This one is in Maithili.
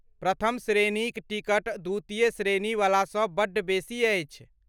प्रथम श्रेणीक टिकट द्वितीय श्रेणीवलासँ बड्ड बेसी अछि।